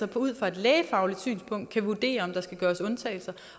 kan ud fra et lægefagligt synspunkt vurdere om der skal gøres undtagelser